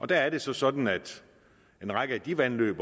der er det så sådan at en række af de vandløb